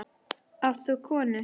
Átt þú konu?